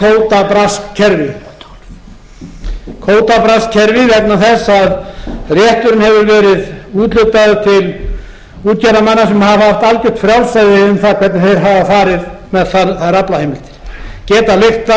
að á íslandi væri kvótabraskskerfi vegna þess að rétturinn hefur verið úthlutaður til útgerðarmanna sem hafa haft algjört frjálsræði um það hvernig þeir hafa farið með þær aflaheimildir getað leigt